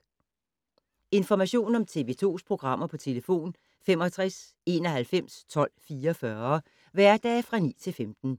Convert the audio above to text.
Information om TV 2's programmer: 65 91 12 44, hverdage 9-15.